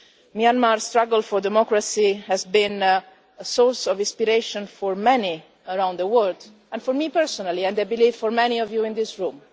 Myanmar's struggle for democracy has been a source of inspiration for many around the world, and for me personally and I believe for many of you in this room.